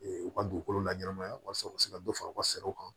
u ka dugukolo la ɲɛnamaya walasa u ka se ka dɔ fara u ka saraw kan